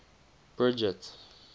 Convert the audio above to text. bridget